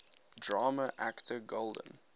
drama actor golden